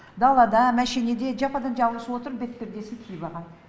далада машинеде жападан жалғыз отырып бетпердесін киіп алған